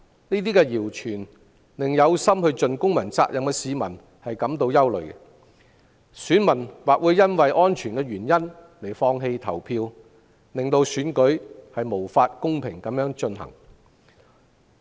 這些謠傳令有意盡公民責任的市民感到憂慮，有些選民或會因安全理由而放棄投票，令選舉無法公平進行。